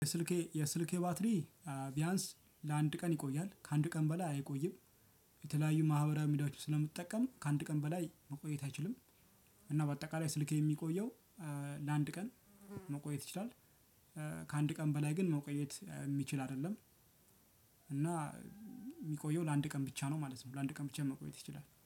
የስልኬ የስልኬ ባትሪ ቢያንስ ለአንድ ቀን ይቆያል ከአንድ ቀን በላይ አይቆይም። የተለያዩ ማህበራዊ ሚዲያዎች ስለምጠቀም ከአንድ ቀን በላይ መቆየት አይችልም። እና በአጠቃላይ ስልኬ የሚቆየው ለአንድ ቀን መቆየት ይችላል። ከአንድ ቀን በላይ ግን መቆየት የሚችል አይደለም። እና ሚቆየው ለአንድ ቀን ብቻ ነው ማለት ነው። ለአንድ ቀን ብቻ መቆየት ይችላል